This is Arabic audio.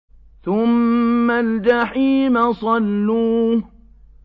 ثُمَّ الْجَحِيمَ صَلُّوهُ